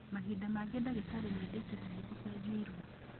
Mahinda mangĩ dagĩtarĩ nĩ endekithagia ucenjio iru.